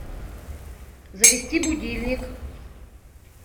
завести будильник